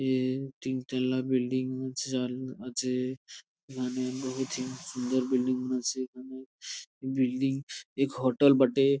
এ তিনতলা বিল্ডিং আছে এখানে বহুতই সুন্দর বিল্ডিং আছে এখানে বিল্ডিং আছে এক হোটেল বটে ।